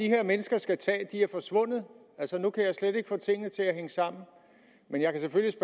her mennesker skal tage er forsvundet altså nu kan jeg slet ikke få tingene til at hænge sammen men jeg kan selvfølgelig